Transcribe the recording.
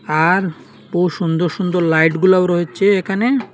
আর সুন্দর সুন্দর লাইটগুলাও রয়েছে এখানে।